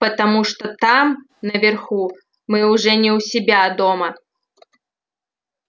потому что там наверху мы уже не у себя дома